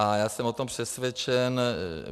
A já jsem o tom přesvědčen.